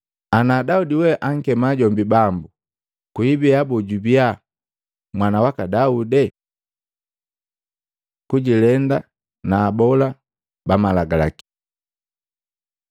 Ana Daudi we ankema jombi, ‘Bambu,’ kwibia boo jubiya mwama waka Daude?” Kujilenda na abola ba Malagalaki Matei 23:1-36; Maluko 12:38-40